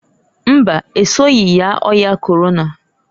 Mbaǃ Esoghi yaa ọya Korona.